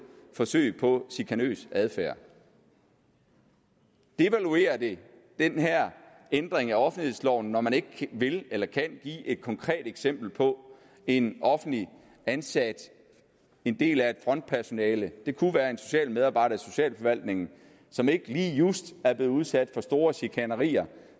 forsøg på chikanøs adfærd devaluerer det den her ændring af offentlighedsloven når man ikke vil eller kan give et konkret eksempel på en offentligt ansat en del af et frontpersonale det kunne være en socialmedarbejder i socialforvaltningen som ikke lige just er blevet udsat for store chikanerier